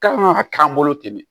K'an ka k'an bolo ten de